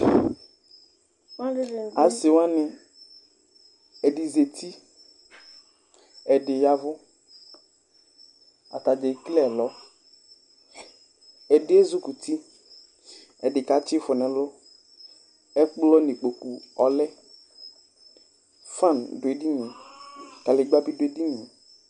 Asi waŋi, ɛɖì zɛti, ɛɖì ya avu Ataŋi kekele ɛlɔ Ɛɖì ezikʋti, ɛɖì katsi ifɔ ŋu ɛlu Ɛkplɔ ŋu ikpoku ɔlɛ Fan ɖu ɛɖìníe, kaligba bi ɖu ɛɖìníe